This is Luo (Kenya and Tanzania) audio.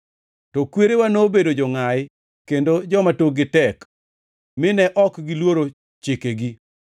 “To kwerewa, nobedo jongʼayi kendo joma tokgi tek, mine ok giluoro chikegi.